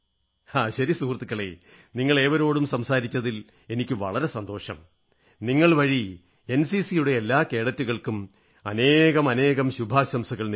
ശരി സുഹൃത്തുക്കളേ നിങ്ങളേവരോടും സംസാരിച്ചതിൽ എനിക്ക് വളരെ സന്തോഷം നിങ്ങൾ വഴി എൻസിസിയുടെ എല്ലാ കേഡറ്റുകൾക്കും അനേകാനേകം ശുഭാശംസകൾ നേരുന്നു